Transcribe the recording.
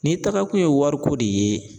Ni taga kun ye wari ko de ye